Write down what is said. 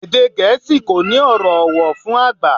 Èdè Gẹ̀ẹ́sì kò ní ọ̀rọ̀ ọ̀wọ̀ fún àgbà